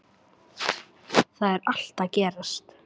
Þar er allt að gerast.